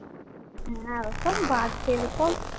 হ্যাঁ ওসব বাদ দে তো